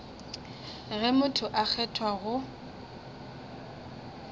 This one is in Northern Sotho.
ge motho a kgethwa go